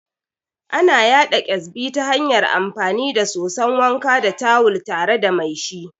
Ana yaɗa Ƙyazbi ta hanyar amfani da soson wanka da tawul tare da mai shi